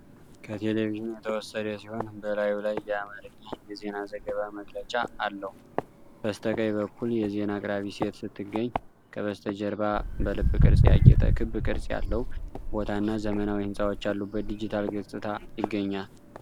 ከቴሌቪዥን የተወሰደ ሲሆን፣ በላዩ ላይ የአማርኛ የዜና ዘገባ መግለጫ አለው። በስተቀኝ በኩል የዜና አቅራቢ ሴት ስትገኝ፣ ከበስተጀርባ በልብ ቅርፅ ያጌጠ ክብ ቅርጽ ያለው ቦታ እና ዘመናዊ ህንጻዎች ያሉበት ዲጂታል ገጽታ ይገኛል።